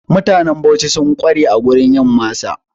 Mutanen Bauchi sun ƙware a wurin yin masa.